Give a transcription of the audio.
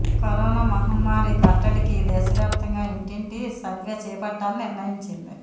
corona మహమ్మారి కట్టడికి దేశవ్యాప్తంగా ఇంటింటి సర్వే చేపట్టాలని నిర్ణయించింది